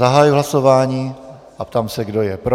Zahajuji hlasování a ptám se, kdo je pro.